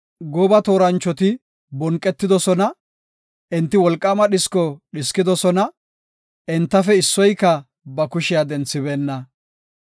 Gooba tooranchoti bonqetidosona; enti wolqaama dhisko dhiskidosona; entafe issoyka ba kushiya denthibeenna.